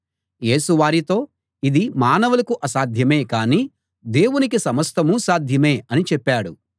యేసు వారితో ఇది మానవులకు అసాధ్యమే కానీ దేవునికి సమస్తమూ సాధ్యమే అని చెప్పాడు